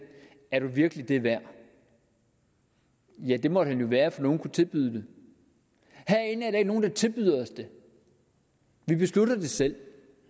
er du virkelig det værd ja det måtte han jo være for nogle kunne tilbyde det herinde er nogen der tilbyder os det vi beslutter det selv